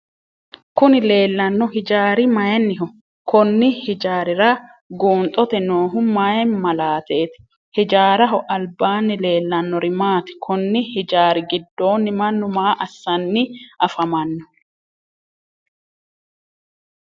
Kunni leellano hijaari mayinniho? Konni hijaarira guunxote noohu mayi malaateeti? Hijaaraho albaanni leelanori maati? Konni hijaari gidoonni Manu maa assanni afamano?